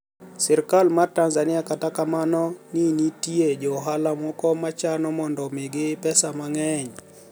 Sirkal mar Tanizaniia kata kamano nii niitie jo ohala moko ma chano monido omigi pesa manig'eniy.